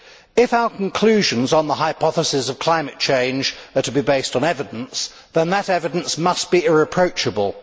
If our conclusions on the hypothesis of climate change are to be based on evidence, then that evidence must be irreproachable.